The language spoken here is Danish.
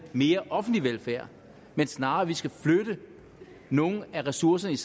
mere offentlig velfærd men snarere at vi skal flytte nogle af ressourcerne